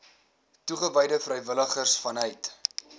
toegewyde vrywilligers vanuit